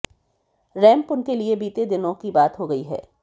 ramp उनके लिए बीते दिनों की बात हो गई है